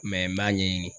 n b'a ɲɛɲini